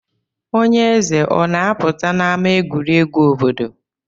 Onye eze o na-apụta n'ama egwuregwu obodo?